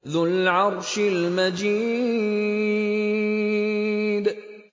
ذُو الْعَرْشِ الْمَجِيدُ